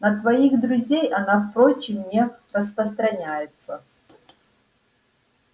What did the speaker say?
на твоих друзей она впрочем не распространяется